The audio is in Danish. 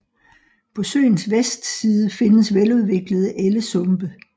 På søens vestside findes veludviklede ellesumpe